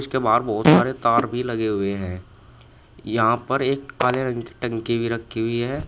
जिसके बाहर बहुत सारे तार भी लगे हुए हैं यहां पर एक काले रंग की टंकी भी रखी हुई है।